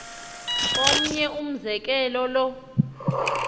omnye umzekelo lo